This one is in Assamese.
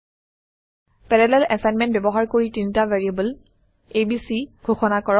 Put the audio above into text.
পেৰালেল এছাইনমেণ্ট ব্যৱহাৰ কৰি তিনিটা ভেৰিয়েবল abচি ঘোষণা কৰক